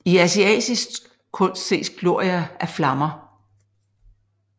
I asiatisk kunst ses glorier af flammer